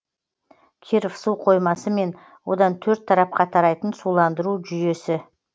киров су қоймасы мен одан төрт тарапқа тарайтын суландыру жүйесі